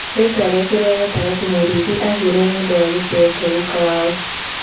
Rĩtwa rĩake rĩa gatagatĩ Mũrĩithi, aheirwo nĩũndũ wa gĩtĩo kĩa gũka wao.